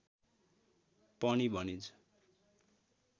पनि भनिन्छ।